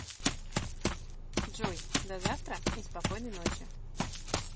джой до завтра и спокойной ночи